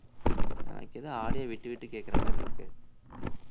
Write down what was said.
எனக்கு ஏதோ audio விட்டு விட்டு கேக்குறமாதிரி இருக்கு